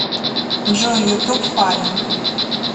джой ютуб фаллен